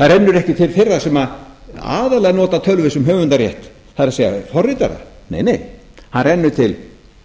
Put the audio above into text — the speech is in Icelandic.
það rennur ekki til þeirra sem aðallega nota tölvur sem höfundarrétt það er forritara nei nei hann rennur til